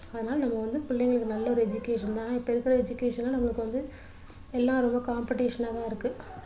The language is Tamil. ஆனால் நம்ம வந்து பிள்ளைங்களுக்கு நல்ல ஒரு education இப்போ இருக்குற education லாம் நம்மளுக்கு வந்து எல்லா ரொம்ப competition னா தான் இருக்கு